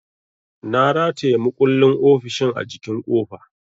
Na rataya makullin ofishin a jikin kofa.